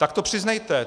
Tak to přiznejte.